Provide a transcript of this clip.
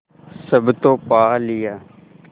सब तो पा लिया